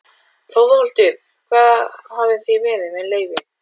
ÞORVALDUR: Hvar hafið þér verið- með leyfi?